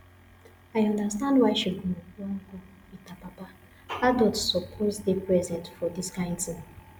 i understand why she go wan go with her papa adult suppose dey present for dis kyn thing